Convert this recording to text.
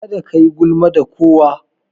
Kada kayi gulma da kowa.